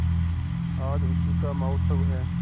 आज उसी का महोत्सव है